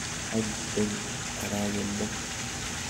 Any eng aragendo.